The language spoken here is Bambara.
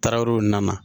Tarawele nana